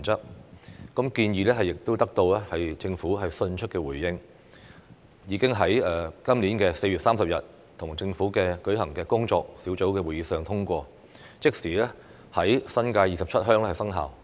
修訂建議獲得政府迅速回應，並已於今年4月30日在與政府舉行的工作小組會議上通過，即時在新界27鄉生效。